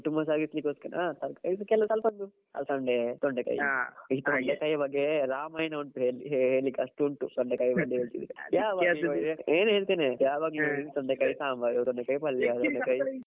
ಕುಟುಂಬ ಸಾಗಿಸ್ಲಿಕ್ಕೆ ಓಸ್ಕರ ಹಾ ತರ್ಕಾರಿದ್ದು ಸ್ವಲ್ಪ ಅಲಸಂಡೆ ತೊಂಡೆಕಾಯಿ ಈ ತೊಂಡೆಕಾಯಿ ಬಗ್ಗೆ ರಾಮಾಯಣ ಉಂಟು ಹೇಳಿ~ ಹೇಳ್ಲಿಕ್ಕೆ ಅಷ್ಟು ಉಂಟು ತೊಂಡೆಕಾಯಿ ಬಗ್ಗೆ . ಹೇಳ್ತೇನೆ ಯಾವಾಗ್ಲೂ ತೊಂಡೆಕಾಯಿ ಸಾಂಬಾರು ತೊಂಡೆಕಾಯಿ ಪಲ್ಯ. .